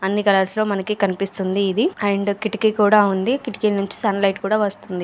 అన్ని కలర్స్ లో మనకి కనిపిస్తుంది ఇది అండ్ కిటికీ కూడా ఉంది కిటికీ నుంచి సన్ లైట్ కూడా వస్తుంది.